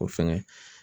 O fɛngɛ